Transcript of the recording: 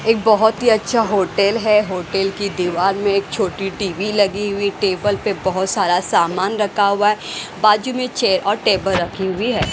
एक बहुत ही अच्छा होटल है होटल की दीवार में एक छोटी टीवी लगी हुई टेबल पे बहुत सारा सामान रखा हुआ है बाजू में चेयर और टेबल रखी हुई है।